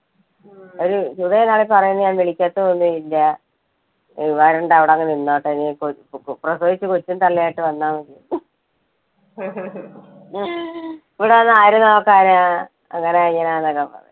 ഒരു വിളിക്കത്തൊന്നും ഇല്ല, വരണ്ട അവിടെ അങ്ങ് നിന്നോട്ടെ നെ പ്ര~പ്രസവിച്ച് കൊച്ചും തള്ളയും ആയിട്ട് വന്നാമതി, ഇവിടെ വന്ന് ആര് നോക്കാനാ അങ്ങനാ ഇങ്ങനാ എന്നൊക്കെ